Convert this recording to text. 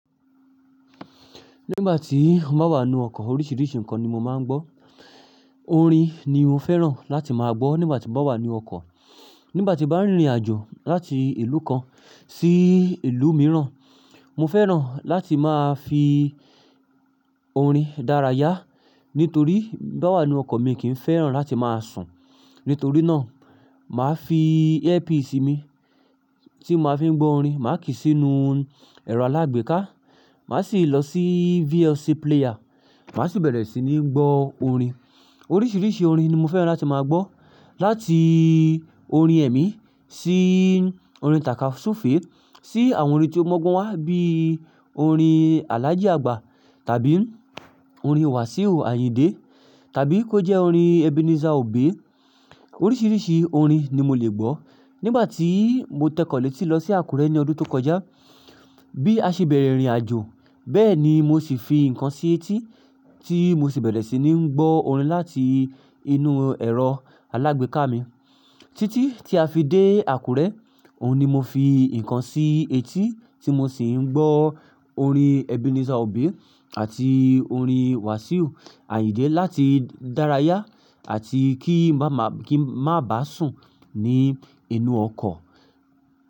Nígbà tí mo bá wà nínú ọkọ̀ oríṣiríṣi nǹkan ni mo máa ń gbọ́. Orin ni mo fẹ́ràn láti máa gbọ́ nígbà tí mo bá wà ní ọkọ̀. Nígbà tí bá ń rìnrìn àjò láti ìlú kan sí ìlú mìíràn, mo fẹ́ràn láti máa fi orin dára yá. Nítorí bá wà nínú ọkọ̀ mi kì í fẹ́ràn láti máa sùn. Nítorí náà, màá fi earpiece mi tí máa fi ń gbọ́ orin, màá kí sí inú ẹ̀rọ alágbèéká, màá sì lọ sí VLC player, màá sì bẹ̀rẹ̀ sí ní gbọ́ orin. Oríṣiríṣi orin ni mo fẹ́ràn láti máa gbọ́. Láti orin ẹ̀mí sí orin tàka súfèé sí àwọn orin tí ó mu ogbon wá bí orin Alhaji Agba tàbí orin Wasiu Ayinde tàbí kó jẹ́ orin Ebenezer Obey. Oríṣiríṣi orin ni mo lè gbọ́. Nígbà tí mo tẹ̀kọ̀lẹ́ tí lọ sí Àkúrẹ́ ní ọdún tó kọjá, bí a ṣe bẹ̀rẹ̀ ìrìn àjò bẹ́ẹ̀ ni mo sì fi ǹkan sí etí tí mo sì bẹ̀rẹ̀ sí ní gbọ́ orin láti inú ẹ̀rọ alágbèéká mi. Títí tí a fi dé Àkúrẹ́, òun ni mo fi ǹkan sí etí tí mo sì ń gbọ́ orin Ebenezer Obey àti orin Wasiu Ayinde láti dára yá àti kí n má ba sùn ní inú ọkọ̀.